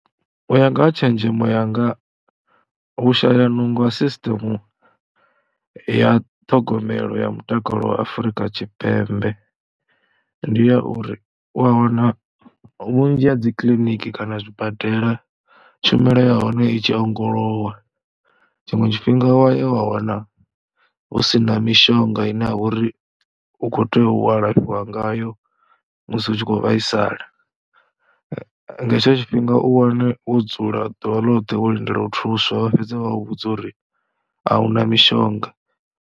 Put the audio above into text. U ya nga ha tshenzhemo yanga u shaya nungo wa sisṱemu ya ṱhogomelo ya mutakalo wa Afrika Tshipembe ndi ya uri u ya wana vhunzhi ha dzi kiliniki kana zwibadela tshumelo ya hone i tshi ongolowa. Tshiṅwe tshifhinga wa ya wa wana hu si na mishonga ine ya vha uri u khou tea u alafhiwa ngayo musi hu tshi khou vhaisala. Nga hetsho tshifhinga u wane wo dzula ḓuvha ḽoṱhe wo lindela u thuswa vha fhedze vha vhudza uri a hu na mishonga.